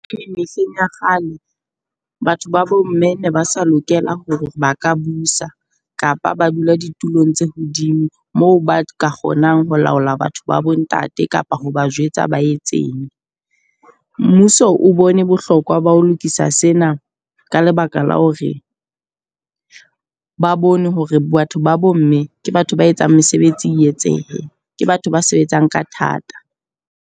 Mehleng ya kgale batho ba bo mme ne ba sa lokela hore ba ka busa kapa ba dula ditulong tse hodimo moo ba ka kgonang ho laola batho ba bo ntate kapa ho ba jwetsa ba etseng. Mmuso o bone bohlokwa ba ho lokisa sena ka lebaka la hore ba bone hore batho ba bo mme ke batho ba etsang mesebetsi e etsehe, ke batho ba sebetsang ka thata.